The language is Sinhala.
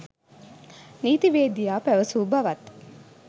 නීතිවේදියා පැවසූ බවත්